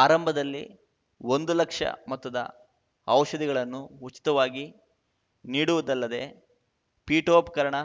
ಆರಂಭದಲ್ಲಿ ಒಂದು ಲಕ್ಷ ಮೊತ್ತದ ಔಷಧಿಗಳನ್ನು ಉಚಿತವಾಗಿ ನೀಡುವುದಲ್ಲದೆ ಪೀಠೋಪಕರಣ